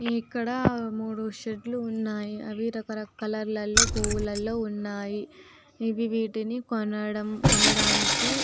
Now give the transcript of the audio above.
ఇక్కడ మూడు షేడ్ లు ఉన్నయిఅవి రకరకాల కలర్ లో పువ్వులలో ఉన్నాయి ఇవి వీటిని కొనడం కొనడానికి --